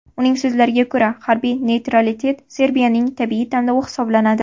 Uning so‘zlariga ko‘ra, harbiy neytralitet Serbiyaning tabiiy tanlovi hisoblanadi.